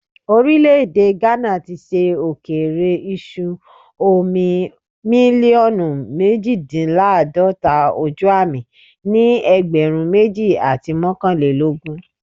Orile-ede Ghana ti ṣe okeere iṣu omi miliọnu mejidinlaadọta ojuami ni ẹgbẹrun meji ati mọkanlelogun